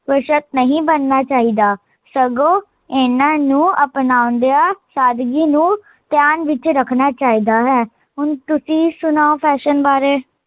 ਪ੍ਰਸ਼ਤ ਨਹੀਂ ਬਣਨਾ ਚਾਹੀਦਾ ਸਗੋਂ, ਇਹਨਾਂ ਨੂ ਅਪਣਾਉਂਦਿਆ, ਸਾਦਗੀ ਨੂੰ ਧਿਆਨ ਵਿੱਚ ਰੱਖਣਾ ਚਾਹੀਦਾ ਹੈ, ਹੁਣ ਤੁਸੀਂ ਸੁਣਾਓ ਫੈਸ਼ਨ ਬਾਰੇ